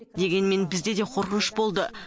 дегенмен бізде де қорқыныш болды